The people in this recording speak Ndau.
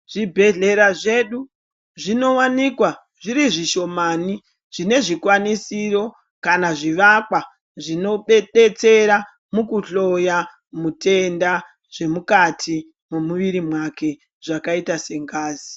Zvibhedhlera zvedu zvinowanikwa zvirizvishomani zvinezvikwanisiro kana zvivakwa zvinodedetsera mukuhloya mutenda zvemukati memuyiri make zvakaita sengazi.